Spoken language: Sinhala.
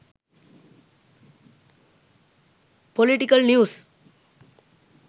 political news